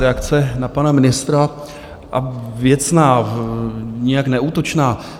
Reakce na pana ministra, a věcná, nijak neútočná.